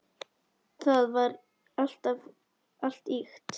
Það var allt ýkt.